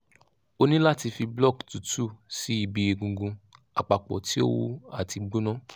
o ni lati fi block tutu si ibi egungun apapo ti o wu ati gbona